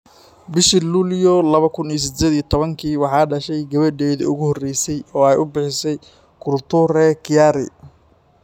Bishii Luulyo lawa kuun iyo sideed iyo tobaanki waxay dhashay gabadheedii ugu horreysay oo ay u bixisay - Kulture Kiari.